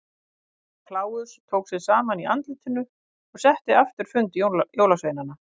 Herra Kláus tók sig saman í andlitinu og setti aftur fund jólasveinanna.